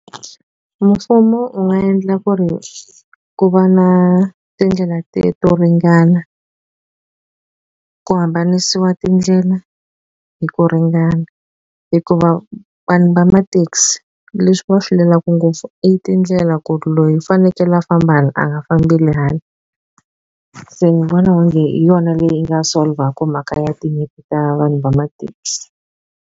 mfumo u nga endla ku ri ku va na tindlela to ringana ku hambanisiwa tindlela hi ku ringana hikuva vanhu va ma taxi leswi va swi lwelaku ngopfu i tindlela ku loyi i fanekele a famba hala a nga fambeli hala se ni vona onge hi yona leyi nga solver-ku mhaka ya tinyimpi ta vanhu va ma taxi.